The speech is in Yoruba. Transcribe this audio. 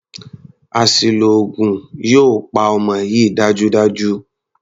Àṣìlò oògùn yóò pa ọmọ yìí dájúdájú.